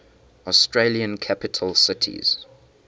australian capital cities